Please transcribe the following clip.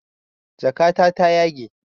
Jakata ta yage